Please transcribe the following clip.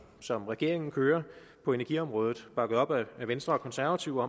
som regeringen kører på energiområdet bakket op af venstre og konservative